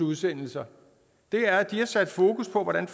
udsendelse og det er at de har sat fokus på hvordan